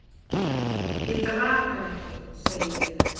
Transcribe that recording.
"""Ég drap hann ekki, segi ég."""